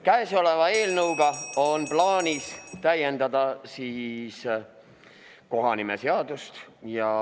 Kõnesoleva eelnõuga on plaanis täiendada kohanimeseadust.